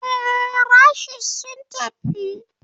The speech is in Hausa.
Ee, rashes sun tafi.